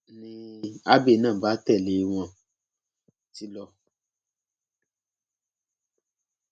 ni abbey náà bá tẹlé e wọn ti lọ